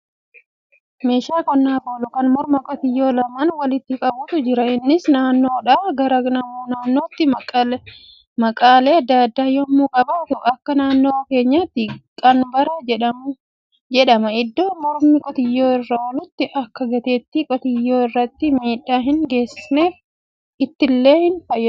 Meeshaa qonnaaf oolu kan morma qotiyyoo lamaan walitti qabutu jira. Innis naannoodhaa gara naannootti maqaalee adda addaa yemmuu qabaaatu akka naannoo keenyatti qanbara jedhama. Iddoo mormi qotiyyoo irra oolitti akka gateetti qotiyyoo irratti miidhaa hin geessisneef itilleen itti marameera.